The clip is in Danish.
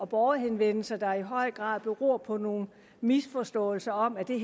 borgerhenvendelser der i høj grad beror på nogle misforståelser om at vi